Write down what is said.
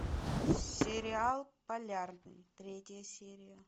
сериал полярный третья серия